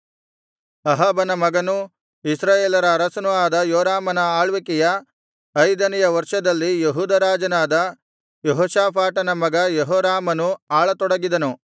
ಅಹಾಬನ ಮಗನೂ ಇಸ್ರಾಯೇಲರ ಅರಸನೂ ಆದ ಯೋರಾಮನ ಆಳ್ವಿಕೆಯ ಐದನೆಯ ವರ್ಷದಲ್ಲಿ ಯೆಹೂದ ರಾಜನಾದ ಯೆಹೋಷಾಫಾಟನ ಮಗ ಯೆಹೋರಾಮನು ಆಳತೊಡಗಿದನು